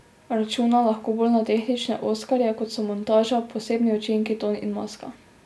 Računa lahko bolj na tehnične oskarje, kot so montaža, posebni učinki, ton in maska.